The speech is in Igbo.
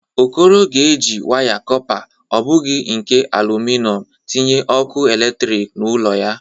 Okoro ga-eji waya kọpa, ọ bụghi nke alụmịnọm, tinye ọkụ eletriki n'ụlọ ya.